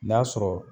N'a sɔrɔ